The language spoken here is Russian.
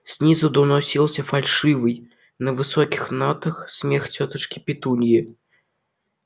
снизу доносился фальшивый на высоких нотах смех тётушки петуньи